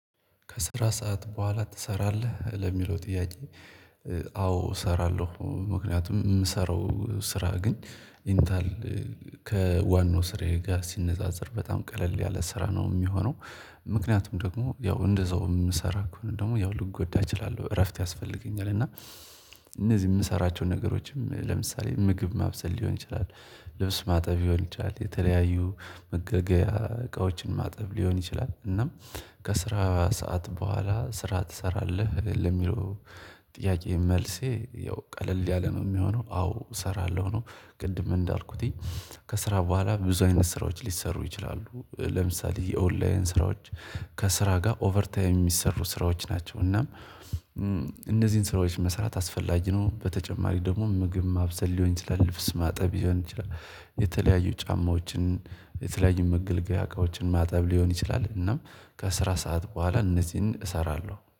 ከስራ ሰዓት በኋላ ትሰራለህ ለሚለው ጥያቄ? ኧ አዎ እሰራለሁ። ምክንያቱም የምሰራው ስራ ግን ኢንታል ከዋናው ስርዬ ጋር ሲነጻጸር በጣም ቀለል ያለ ስራ ነው ሚሆነው። ምክንያቱም ደግሞ ያው እንደዛው የምሰራው ደግሞ ያው ልጎዳ እችላለሁ እረፍት ያስፈልገኛል። እና እነዚህ የምሰራቸውን ነገሮች ለምሳሌ ምግብ ማብሰል ሊሆን ይችላል። ልብስ ማጠብ ሊሆን ይቻላል የተለያዩ መገልገያ እቃዎችን ማጠብ ሊሆን ይችላል። እናም ከስራ ሰዓት በኋላ ስራ ትሰራለህ ለሚለው? ጥያቄ መልሴ ያው ቀለል ያለ ነው የሚሆነው አዎ እሰራለሁ ነው። ቅድም እንዳልኩትኝ ከስራ በኋላ ብዙ አይነት ስራዎች ሊሰሩ ይችላሉ። ለምሳሌ የኦንላይን ስራዎች። ከስራ ጋር ኦቨርታይም የሚሰሩ ስራዎች ናቸው። እናም እነዚህን ስራዎች መስራት አስፈላጊ ነው። በተጨማሪ ደግሞ ምግብ ማብሰል ሊሆን ይችላል። ልብስ ማጠብ ይሆን ይችላል የተለያዩ ጫማዎችን የተለያዩ መገልገያ እቃዎችን ማጠብ ሊሆን ይችላል። እና ከአስራ ሰዓት በኋላ እነዚህን እሰራለሁ